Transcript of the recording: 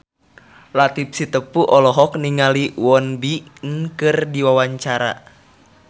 Latief Sitepu olohok ningali Won Bin keur diwawancara